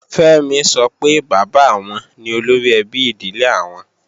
Fẹ́mi sọ pé bàbá àwọn ni olóríẹbí ìdílé àwọn